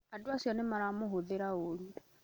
Andũacio nĩmaramũhũthĩra ũũru